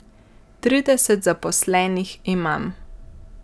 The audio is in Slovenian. Trideset zaposlenih imam.